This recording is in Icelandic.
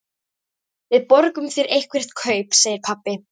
Við borgum þér eitthvert kaup, segir pabbi.